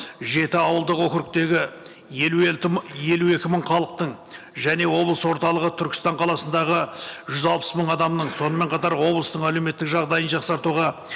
жеті ауылдық округтегі елу елу екі мың халықтың және облыс орталығы түркістан қаласындағы жүз алпыс мың адамның сонымен қатар облыстың әлеуметтік жағдайын жақсартуға